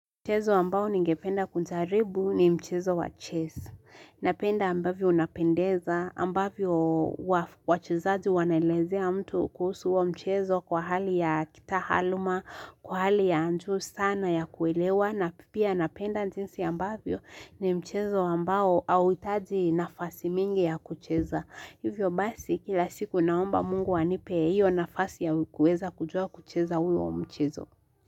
Mchezo ambao ningependa kujaribu ni mchezo wa ches. Napenda ambavyo unapendeza, ambavyo wachezaji wanaelezea mtu kuhusu huo mchezo kwa hali ya kitahaluma, kwa hali ya anju sana ya kuelewa, na pipia napenda njinsi ambavyo ni mchezo wa mbao au itadi nafasi mingi ya kucheza. Hivyo basi kila siku naomba mungu anipe hiyo nafasi ya ukuweza kujua kucheza hui wa mchezo.